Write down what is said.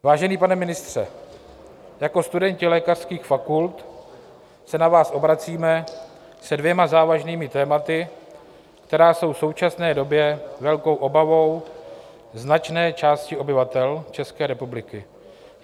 "Vážený pane ministře, jako studenti lékařských fakult se na vás obracíme se dvěma závažnými tématy, která jsou v současné době velkou obavou značné části obyvatel České republiky.